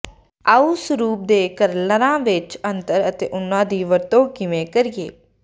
ਆਉ ਸਰੂਪ ਦੇ ਕਰਲਰਾਂ ਵਿੱਚ ਅੰਤਰ ਅਤੇ ਉਹਨਾਂ ਦੀ ਵਰਤੋਂ ਕਿਵੇਂ ਕਰੀਏ